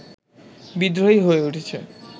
বিদ্রোহী হয়ে উঠেছে